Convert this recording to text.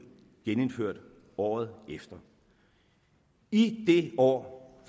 genindført året efter i det år